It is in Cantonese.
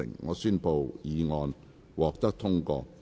我宣布議案獲得通過。